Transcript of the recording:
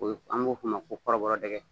O ye an b'o f'o ma ko kɔrɔbɔrɔdɛgɛ